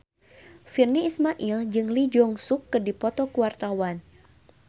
Virnie Ismail jeung Lee Jeong Suk keur dipoto ku wartawan